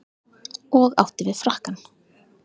Og átti við frakkann.